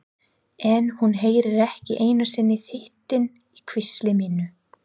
En hún heyrir ekki einu sinni þytinn í hvísli mínu.